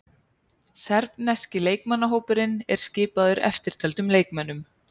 Serbneski leikmannahópurinn er skipaður eftirtöldum leikmönnum.